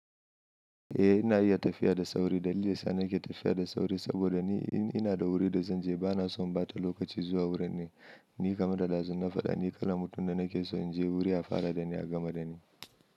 Ina iya tafiya da sauri. Dalilin daya sa ni ke tafiya da sauri saboda ni ina da wuri da zan je bana so in ɓata lokaci zuwa wurin nan. Ni kamar da dazun na faɗa, ni kala mutum da na ke so in je wuri ya fara da ni a gama da ni.